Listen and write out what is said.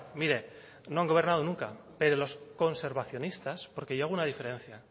mire no han gobernado nunca pero los conservacionistas porque yo hago una diferencia